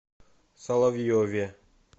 соловьеве